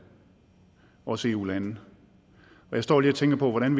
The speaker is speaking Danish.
også i eu lande og jeg står lige og tænker på hvordan